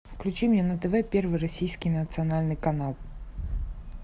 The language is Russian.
включи мне на тв первый российский национальный канал